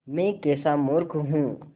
मैं कैसा मूर्ख हूँ